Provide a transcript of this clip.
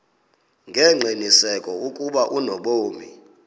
ngengqiniseko ukuba unobomi